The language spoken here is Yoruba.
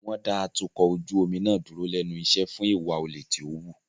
Wọ́n dá atukọ̀ ojú omi náà dúró lẹ́nu iṣẹ́ fún ìwà olè tí ó wù.